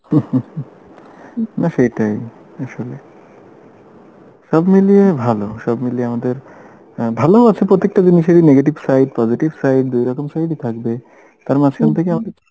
না সেটাই আসলে সবমিলিয়ে ভালো সব মিলিয়ে আমাদের আ ভালোও আছে প্রত্যেকটা জিনিসেরই negative side positive side দুইরকম side ই থাকবে তার মাঝখান থেকে আমাদের